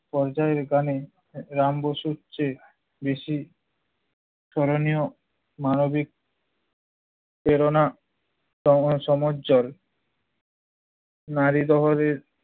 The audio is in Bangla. পর্যায়ের গানে রাম বসু বসুর চেয়ে বেশি করণীয় মানবিক প্রেরণা নারী দহরির